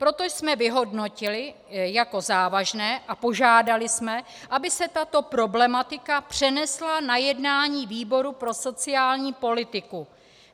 Proto jsme vyhodnotili jako závažné a požádali jsme, aby se tato problematika přenesla na jednání výboru pro sociální politiku.